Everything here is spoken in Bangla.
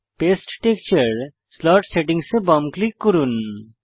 পাস্তে টেক্সচার স্লট সেটিংস এ বাম ক্লিক করুন